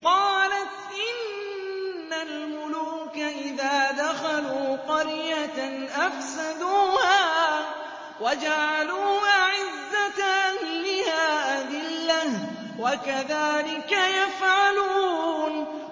قَالَتْ إِنَّ الْمُلُوكَ إِذَا دَخَلُوا قَرْيَةً أَفْسَدُوهَا وَجَعَلُوا أَعِزَّةَ أَهْلِهَا أَذِلَّةً ۖ وَكَذَٰلِكَ يَفْعَلُونَ